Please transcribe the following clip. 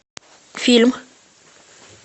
фильм